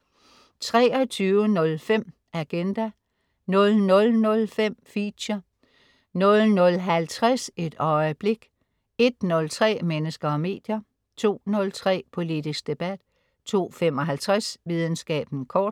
23.05 Agenda* 00.05 Feature* 00.50 Et øjeblik* 01.03 Mennesker og medier* 02.03 Politisk debat* 02.55 Videnskaben kort*